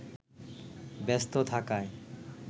ব্যস্ত থাকায়